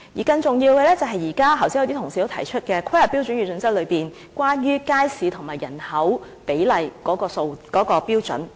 更重要的是，剛才有一些同事也提及在規劃標準與準則內有關街市與人口比例的標準。